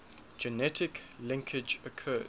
genetic linkage occurs